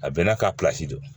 A bɛɛ n'a ka don